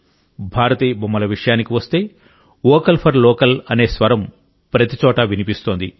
భారతీయ బొమ్మల విషయానికి వస్తే వోకల్ ఫర్ లోకల్ అనే స్వరం ప్రతిచోటా వినిపిస్తోంది